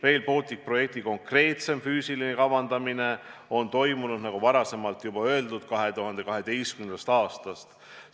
Rail Balticu projekti konkreetsem füüsiline kavandamine on toimunud, nagu varasemalt juba öeldud, 2012. aastast alates.